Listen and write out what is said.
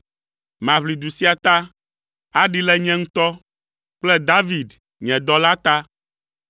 “Maʋli du sia ta aɖee le nye ŋutɔ kple David, nye dɔla ta!”